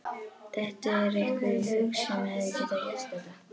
Dettur þér einhver í hug sem hefði getað gert þetta?